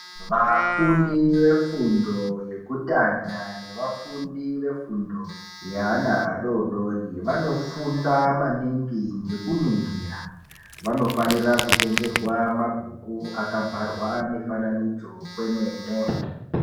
Vafundi vefundo yekutanga nevafundi vefundo yeanaadodori vanofunda maningi ngeku ningira, vanofanira kutengerwa mabhuku aka bharwa mifananidzo kwemene.